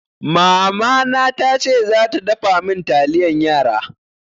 Mamana tace za ta dafa min taliyan yara.